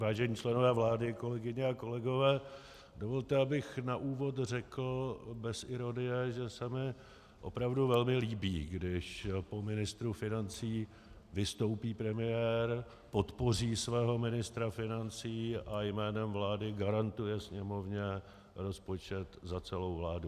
Vážení členové vlády, kolegyně a kolegové, dovolte, abych na úvod řekl bez ironie, že se mi opravdu velmi líbí, když po ministru financí vystoupí premiér, podpoří svého ministra financí a jménem vlády garantuje Sněmovně rozpočet za celou vládu.